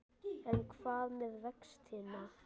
En hvað með vextina?